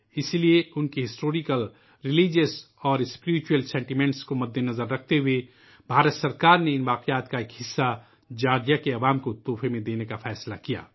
اسی لیے ان کے تاریخی، مذہبی اور روحانی جذبات کو ذہن میں رکھتے ہوئے، حکومت ہند نے جارجیا کے عوام کو ان باقیات کے ایک حصے کو بطور تحفہ دینے کا فیصلہ کیا